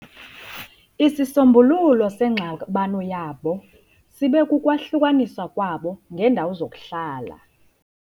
Isisombululo sengxabano yabo sibe kukwahlukaniswa kwabo ngeendawo zokuhlala.